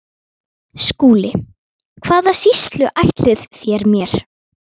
SKÚLI: Hvaða sýslu ætlið þér mér?